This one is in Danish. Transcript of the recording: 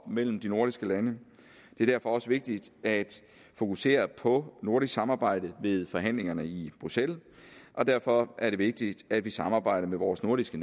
mellem de nordiske lande det er derfor også vigtigt at fokusere på nordisk samarbejde ved forhandlingerne i bruxelles og derfor er det vigtigt at vi samarbejder med vores nordiske